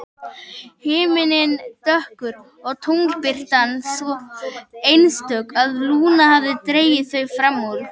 Himinninn dökkur og tunglbirtan svo einstök að Lúna hafði dregið þau fram úr.